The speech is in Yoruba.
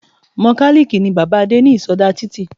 Mokàlìkì ni bàbáa Adé ní ìsodá títì